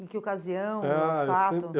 Em que ocasião, ou fato? Ah, eu sempre